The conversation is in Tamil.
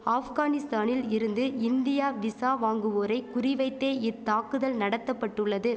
ஆஃப்கானிஸ்தானில் இருந்து இந்தியா விசா வாங்குவோரை குறிவைத்தே இத்தாக்குதல் நடத்தபட்டுள்ளது